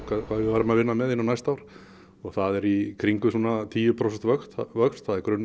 hvað við værum að vinna með inn á næsta ár og það er í kringum tíu prósenta vöxt vöxt það er